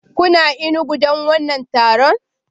Kuna Enugu don wannan taron?